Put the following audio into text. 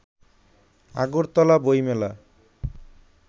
আগরতলা বইমেলা